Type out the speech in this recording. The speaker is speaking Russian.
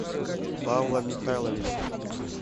павла михайловича